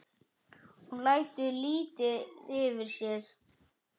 Hún lætur lítið yfir sér.